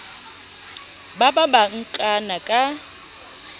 ba ba ba nkana ka